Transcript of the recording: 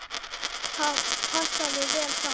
Það passaði vel saman.